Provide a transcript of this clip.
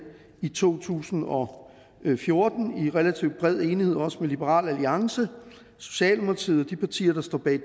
i to tusind og fjorten i relativt bred enighed også med liberal alliance socialdemokratiet og de partier der står bag